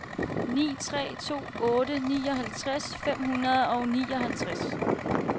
ni tre to otte nioghalvtreds fem hundrede og nioghalvtreds